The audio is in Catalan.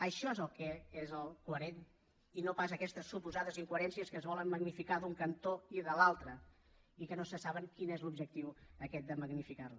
això és el que és coherent i no pas aquestes suposades incoherències que es volen magnificar d’un cantó i de l’altre i que no se sap quin és l’objectiu aquest de magnificar les